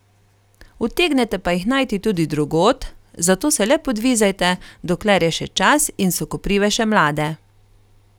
Utegnete pa jih najti tudi drugod, zato se le podvizajte, dokler je še čas in so koprive še mlade.